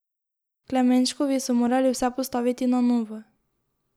Klemenškovi so morali vse postaviti na novo.